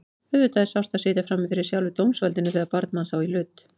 Auðvitað er sárt að sitja frammi fyrir sjálfu dómsvaldinu þegar barn manns á í hlut.